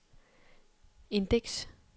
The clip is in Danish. indeks